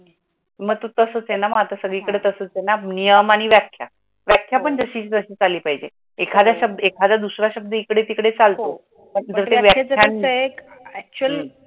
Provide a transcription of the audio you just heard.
मग तो तसच आहे ना, सगळीकडे तसंच नियम आणि व्याख्या व्याख्या पण जशी तशी आली पाहीजे, एखादा दूसरा शब्द एकडे टीकडे चालत